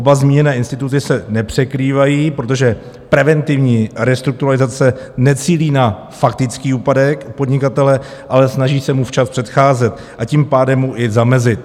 Oba zmíněné instituty se nepřekrývají, protože preventivní restrukturalizace necílí na faktický úpadek podnikatele, ale snaží se mu včas předcházet, a tím pádem mu i zamezit.